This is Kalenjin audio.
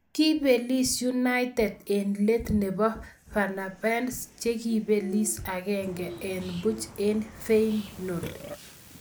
Kibeliis united eng leet neboo fenerbahce chekipelis agenge eng Puch en feyenord